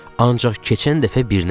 Ancaq keçən dəfə birinə girdim.